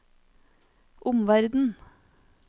omverden